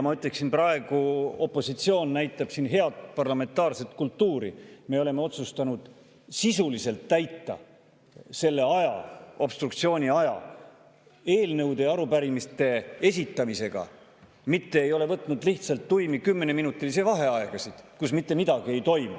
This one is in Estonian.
Ma ütleksin, et praegu näitab opositsioon siin head parlamentaarset kultuuri: me oleme otsustanud täita obstruktsiooni aja sisuliselt, eelnõude ja arupärimiste esitamisega, mitte ei ole võtnud lihtsalt tuimi kümneminutilisi vaheaegasid, kus mitte midagi ei toimu.